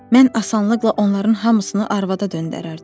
Mən asanlıqla onların hamısını arvada döndərərdim.